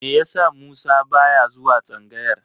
Me yasa Musa ba ya zuwa tsangayar?